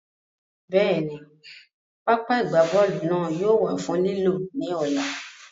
Bẹ́ẹ̀ni, pápá ìgbábọ́ọ̀lù náà yóò wà fún lílò ní ọ̀la